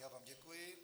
Já vám děkuji.